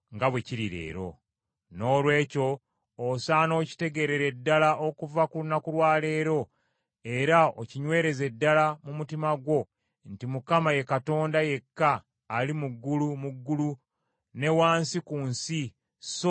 “Noolwekyo osaana okitegeerere ddala okuva ku lunaku lwa leero, era okinywereze ddala mu mutima gwo nti Mukama ye Katonda yekka ali waggulu mu ggulu ne wansi ku nsi; so tewali mulala.